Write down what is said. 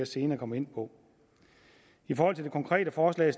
senere komme ind på i forhold til det konkrete forslag